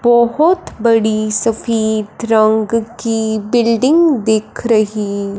बहोत बड़ी सफेद रंग की बिल्डिंग दिख रही--